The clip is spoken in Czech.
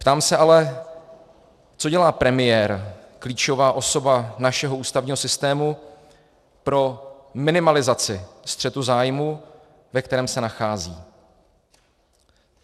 Ptám se ale, co dělá premiér, klíčová osoba našeho ústavního systému pro minimalizaci střetu zájmu, ve kterém se nachází?